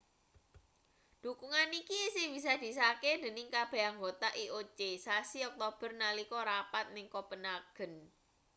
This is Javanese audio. dhukungan iki isih bisa disahke dening kabeh anggota ioc sasi oktober nalika rapat ning kopenhagen